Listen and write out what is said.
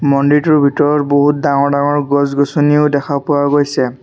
মন্দিৰটোৰ ভিতৰত বহুত ডাঙৰ ডাঙৰ গছ-গছনিও দেখা পোৱা গৈছে।